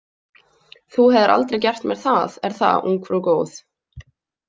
Þú hefðir aldrei gert mér það, er það, ungfrú góð?